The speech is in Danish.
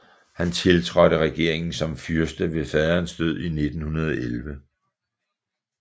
Han tiltrådte regeringen som fyrste ved faderens død i 1911